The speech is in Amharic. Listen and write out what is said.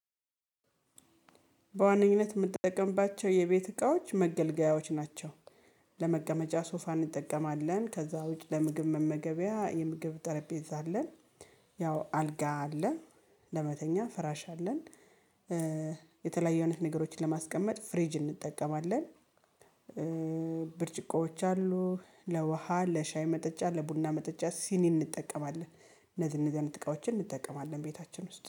በዋነኝነት የምጠቀምባቸው የቤት እቃዎች መገልገያዎች ናቸው። ለመቀመጫ ሶፋ እንጠቀማለን ከዛ ውጪ ለምግብ መመገቢያ የምግብ ጠረጴዛ አለን። ያው አልጋ አለን። ለመተኛ ፍራሽ አለን። የተለያዩ አይነት ነገሮችን ለማስቀመጥ ፍሪጅ እንጠቀማለን። ብርጭቆዎች አሉ ለውሃ ለሻይ መጠጫ ለቡና መጠጫ ሲኒ እንጠቀማለን እነዚህ እነዚህ አይነት እቃዎችን እንጠቀማለን ቤታችን ውስጥ